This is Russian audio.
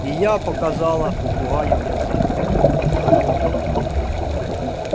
и я показала попугаю язык